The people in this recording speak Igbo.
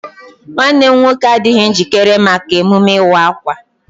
Nwanne m nwoke adịghị njikere maka emume ịwa akwa.